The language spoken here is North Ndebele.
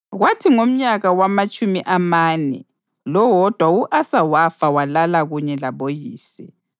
Kwathi ngomnyaka wamatshumi amane lowodwa u-Asa wafa walala kunye laboyise.